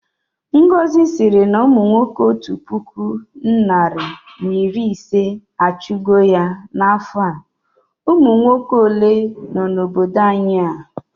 Ngọzi sịrị na umunwoke otu puku narị na iri ise achụ go ya na afọ a, umunwoke ole nọ na obodo anyị a?